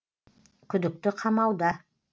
күдікті қамауда